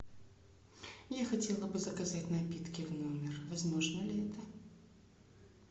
я хотела бы заказать напитки в номер возможно ли это